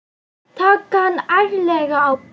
Taka hann ærlega á beinið.